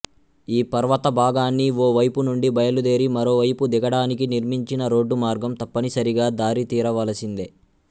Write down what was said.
ఈ పర్వత భాగాన్ని ఓ వైపు నుండి బయలుదేరి మరోవైపు దిగడానికి నిర్మించిన రోడ్డు మార్గం తప్పనిసరిగా చూసితీరవలసిందే